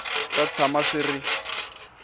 swi ta tshama swi ri